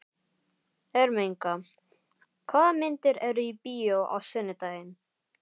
Ermenga, hvaða myndir eru í bíó á sunnudaginn?